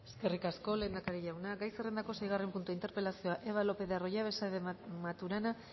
eskerrik asko lehendakari jauna gai zerrendako seigarren puntua interpelazioa eva lopez de arroyabe saez de maturana